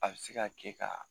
A bɛ se ka kɛ ka